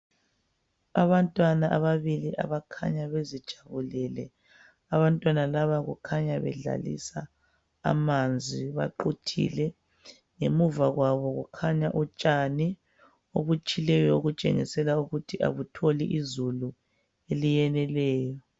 Abantwana ababili abakhanya bezijabulele abantwana laba kukhanya bedlalisa amanzi, baquthile ngemuvakwabo kukhanya utshani obutshileyo obutshengisela ukuthi abutholi izulu eliyeneleyo.